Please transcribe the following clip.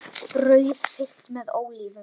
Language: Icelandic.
Brauð fyllt með ólívum